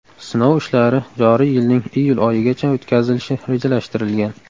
Sinov ishlari joriy yilning iyul oyigacha o‘tkazilishi rejalashtirilgan.